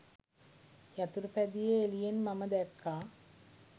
යතුරුපැදියේ එළියෙන් මම දැක්කා.